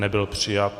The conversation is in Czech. Nebyl přijat.